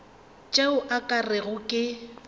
tšeo o ka rego ke